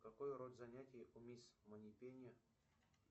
какой род занятий у мисс манипенни